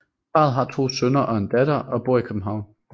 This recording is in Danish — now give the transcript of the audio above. Parret har to sønner og en datter og bor i København